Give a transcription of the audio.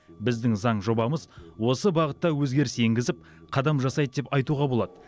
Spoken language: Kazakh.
біздің заң жобамыз осы бағытта өзгеріс енгізіп қадам жасайды деп айтуға болады